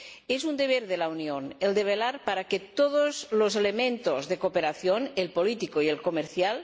Es un deber de la Unión velar por que todos los elementos de cooperación —el político y el comercial